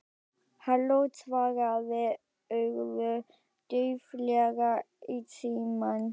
Halló- svaraði Urður dauflega í símann.